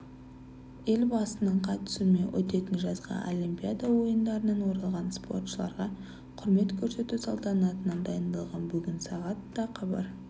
елбасының қатысуымен өтетін жазғы олимпиада ойындарынан оралған спортшыларға құрмет көрсету салтанатынан дайындалған бүгін сағат да хабар